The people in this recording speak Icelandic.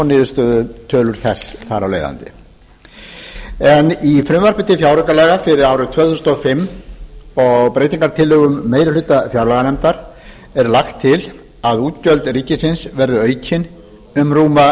niðurstöðutölur þess þar af leiðandi í frumvarpi til fjáraukalaga fyrir árið tvö þúsund og fimm og breytingartillögum meiri hluta fjárlaganefndar er lagt til að útgjöld ríkisins verði aukin um rúma